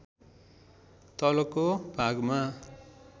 तलको भागमा